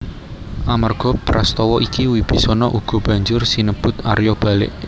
Amarga Prastawa iki Wibisana uga banjur sinebut Arya Balik